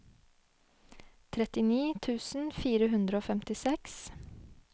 trettini tusen fire hundre og femtiseks